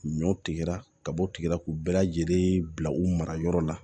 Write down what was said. Ɲɔ tigɛra ka bɔ o tigila k'u bɛɛ lajɛlen bila u mara yɔrɔ la